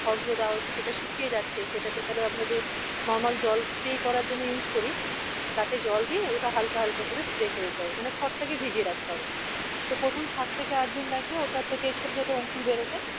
খর গুলো দেওয়া হয়েছে সেটা শুকিয়ে যাচ্ছে সেটাতে তালে আমরা যে normal জল spray করার জন্য use করি তাতে জল দিয়ে ওটা হালকা হালকা করে spray করে দিতে হবে মানে খরটাক ভিজিয়ে রাখতে হবে তো প্রথম সাত থেকে আট দিন লাগবে ওটা থেকে ছোট ছোট অঙ্কুর বেরোতে